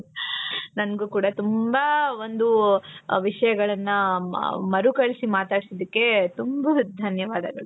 ನಂಗೂ ಕೂಡಾ ತುಂಬಾ ಒಂದು ವಿಷಯಗಳನ್ನ ಮರುಕಳಿಸಿ ಮಾತಾಡ್ಸಿದಕ್ಕೆ ತುಂಬಾ ಧನ್ಯವಾದಗಳು .